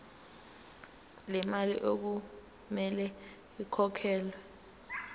lemali okumele ikhokhelwe